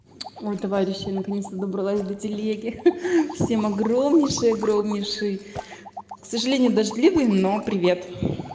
ой товарищи наконец-то добралась до телеги хи-хи всем огромнейший огромнейший к сожалению дождливый но привет